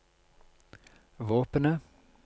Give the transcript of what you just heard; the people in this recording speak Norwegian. våpenet